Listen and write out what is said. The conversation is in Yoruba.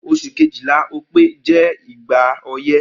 Os̩ù kejìlá, O̩pé̩, jé̩ igba o̩yé̩